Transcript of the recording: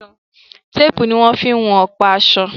Tépùù ní wọ́n fí ń wọn ọ̀pa aṣọ.